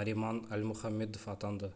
нариман альмухаммедов атанды